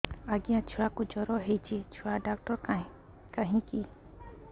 ଆଜ୍ଞା ଛୁଆକୁ ଜର ହେଇଚି ଛୁଆ ଡାକ୍ତର କାହିଁ କି